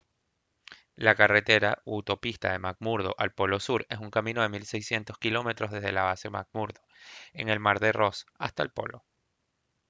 la carretera o autopista de mcmurdo al polo sur es un camino de 1600 km desde la base mcmurdo en el mar de ross hasta el polo